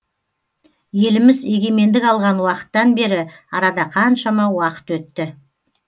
еліміз егемендік алған уақыттан бері арада қаншама уақыт өтті